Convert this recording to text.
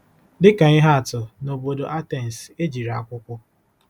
Dị ka ihe atụ, n'obodo Atens, e jichiri akwụkwọ.